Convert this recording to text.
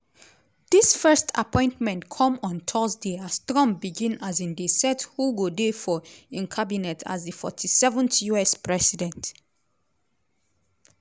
dis first appointment come on thursday as trump begin um dey set who go dey for im cabinet as di 47th us president.